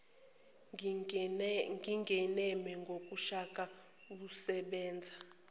ngingeneme ngoshaka usebenze